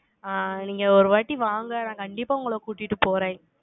ஆங், நீங்க ஒரு வாட்டி வாங்க, நான் கண்டிப்பா உங்களை கூட்டிட்டு போறேன்